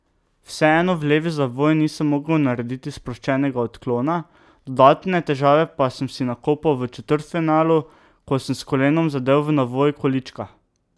Vseeno v levi zavoj nisem mogel narediti sproščenega odklona, dodatne težave pa sem si nakopal v četrtfinalu, ko sem s kolenom zadel v navoj količka.